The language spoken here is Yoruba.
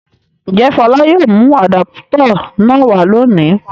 Ǹjẹ́ Fọlá yóò mú àdápútọ̀ náà wá lónìí?